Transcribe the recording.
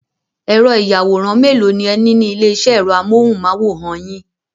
Ẹ̀rọ-ìyàwòrán mélòó ni ẹ ní ní ilé-iṣẹ́ ẹ̀rọ amóhùmáwòhán yín?